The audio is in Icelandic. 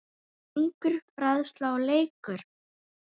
Söngur, fræðsla og leikur.